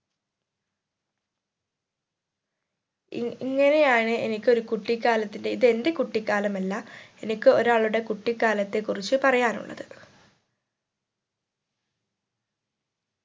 E ഇങ്ങനെയാണ് എനിക്ക് ഒരു കുട്ടികാലത്തിന്റെ ഇത് എന്റെ കുട്ടിക്കാലമല്ല എനിക്ക് ഒരാളുടെ കുട്ടിക്കാലത്തെ കുറിച്ച് പറയാനുള്ളത്